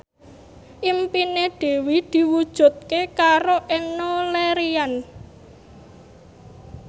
impine Dwi diwujudke karo Enno Lerian